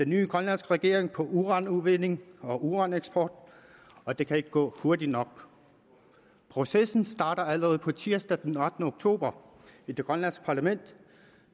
nye grønlandske regering på uranudvinding og uraneksport og det kan ikke gå hurtigt nok processen starter allerede på tirsdag den ottende oktober i det grønlandske parlament